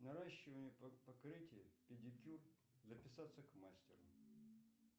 наращивание покрытия педикюр записаться к мастеру